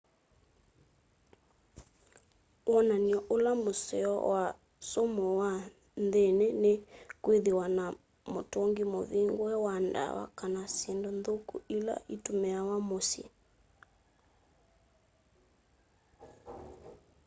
wonany'o ula museo wa sumu wa nthĩnĩ nĩ kwĩthĩwa na mũtũngĩ mũvĩngũe wa dawa kana syĩndũ nthũkũ ĩla ĩtũmĩawa mũsyĩ